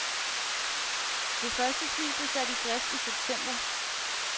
De første fly bliver sat i drift i september.